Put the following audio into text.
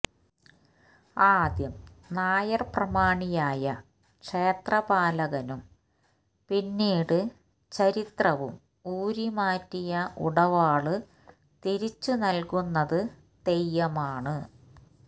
ആദ്യം നായര് പ്രമാണിയായ ക്ഷേത്രപാലകനും പിന്നീട് ചരിത്രവും ഊരി മാറ്റിയ ഉടവാള് തിരിച്ചു നല്കുന്നത് തെയ്യമാണ്